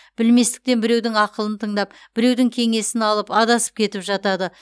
білместіктен біреудің ақылын тыңдап біреудің кеңесін алып адасып кетіп жатады